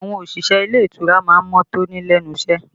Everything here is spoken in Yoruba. Àwọn òṣìṣẹ́ ilé ìtura má ń mọ́ tóní lẹ́nu iṣẹ́